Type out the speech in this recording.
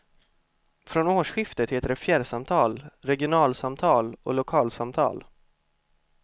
Från årsskiftet heter det fjärrsamtal, regionalsamtal och lokalsamtal.